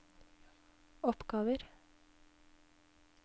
oppgaver